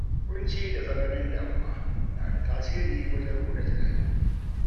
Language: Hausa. Ƙunci da tsananin damuwa na da tasiri wajen ruɗa tunani.